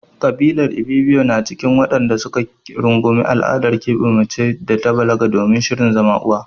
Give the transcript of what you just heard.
Ƙabilar Ibibiyo na cikin waɗanda su ka rungumi al'adar keɓe mace da ta balaga domin shirin zama uwa.